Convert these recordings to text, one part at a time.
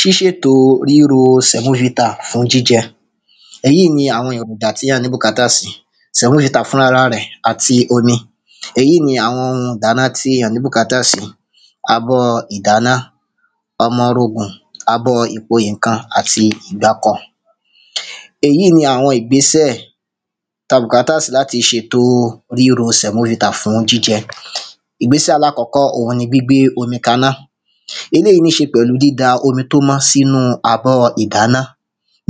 Ṣíṣètò ríro sẹ̀móvità fún jíjẹ Èyí ni àwọn èròjà tí à ní bùkátà sí sẹ̀móvità fúnrara rẹ̀ àti omi Èyí ni àwọn oun ìdáná tí à ní bùkátà sí abọ́ ìdáná ọmọrogùn abọ́ ìpò nǹkan àti ìgbákọ Èyí ni àwọn ìgbésẹ̀ tí a bùkátà sí láti ṣètò ríro sẹ̀móvità fún jíjẹ Ìgbésẹ̀ alákọ́kọ́ oun ni gbígbé omi kaná Eléyì níí ṣe pẹ̀lú dída omi tí ó mọ́ sínú abọ́ ìdáná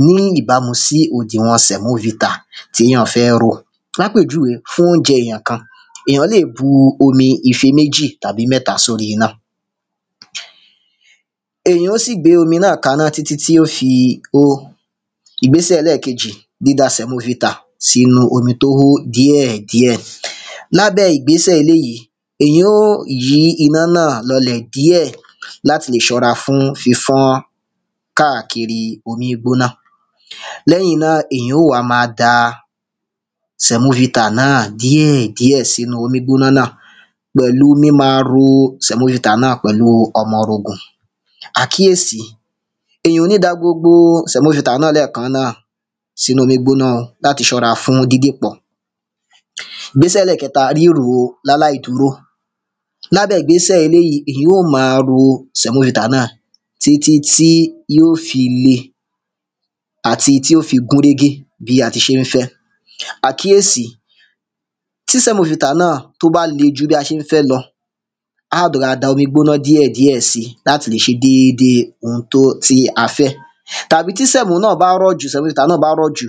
ní ìbámu sí òdìwọ̀n sẹ̀móvità tí èyàn fẹ́ rò Ní àpèjúwe fún óunjẹ èyàn kan èyàn lè bu omi ìfé méjì tàbí mẹ́ta sórí iná Èyàn ó sì gbé omi náà kaná títí tí ó fi hó Ìgbésẹ̀ ẹlẹ́ẹ̀kejì dída sẹ̀móvità sínú omi tí ó hó díẹ̀díẹ̀ Lábẹ́ ìgbésẹ̀ eléyì èyàn óò yí iná náà lọọlẹ̀ díẹ̀ láti lè ṣọ́ra fún fífọ́n káàkiri omíígbọ́ná Lẹ́yìn náà èyàn óò wá máa da sẹ̀móvità náà díẹ̀díẹ̀ sínú omíígbóná náà pẹ̀lú míma ro sẹ̀móvità náà pẹ̀lú ọmọrogùn Àkíyèsi Èyàn ò ní da gbogbo sẹ̀móvità náà sínú omíígbóná láti ṣọ́ra fún dídìpọ̀ Ìgbésẹ̀ ẹlẹ́ẹ̀kẹta ríro ní aláìdúró Ní abẹ́ ìgbésẹ̀ eléyì èyàn óò ma ro sẹ̀móvità náà títí tí yóò fi le àti tí yóò fi gúnrégé bi a tí ṣe ń fẹ́ Àkíyesi Tí sẹ̀móvità náà tí ó bá le jù bí a ṣe ń fẹ lọ a lè rọra da omíígbóná díẹ̀díẹ̀ si láti lè ṣe dédé oun tí a fẹ́ Tàbí tí semo náà bá rọ̀ jù sẹ̀móvità náà bá rọ̀ jù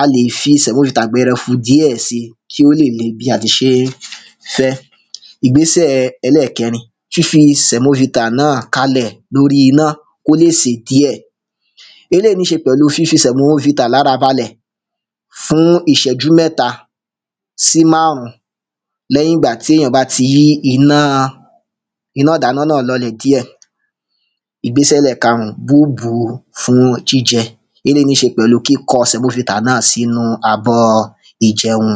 a lè fi sẹ̀móvità gbẹrẹfu díẹ̀ si kí ó lè le bí a tí ṣe ń fẹ́ Ìgbésẹ̀ ẹlẹ́ẹ̀kẹrin fífi sẹ̀móvita náà kalẹ̀ ní orí iná kí ó lè sè díẹ̀ Eléyì níí ṣe pẹ̀lú fífi sẹ̀móvità lára balẹ̀ fún ìṣẹ́jú mẹ́ta sí márùn lẹ́yìn ìgbà tí èyàn bá tí yí iná iná ìdáná náà lọọlẹ̀ díẹ̀ Ìgbésẹ̀ ẹlẹ́ẹ̀karun bíbùú fún jíjẹ Eléyì níí ṣe pẹ̀lú kíkọ sẹ̀móvità náà sínú abọ́ ìjẹun